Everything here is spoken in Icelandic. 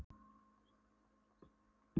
Á fimmtudagskvöld hittast Svenni og Klara aftur.